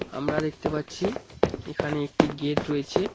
আমরা দেখতে পাচ্ছি এখানে একটি গেট রয়েছে।